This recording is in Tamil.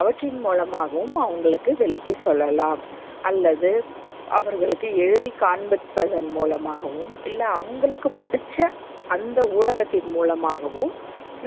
அவற்றின் மூலமாகவும் அவங்களுக்கு விளக்கி சொல்லலாம் அல்லது அவர்களுக்கு எழுதி காண்பிப்பதன் மூலமாகவும் இல்ல, அவங்களுக்கு புடிச்ச அந்த ஊடகத்தின் மூலமாகவும்